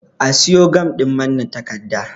A siyo gam ɗin manne takarda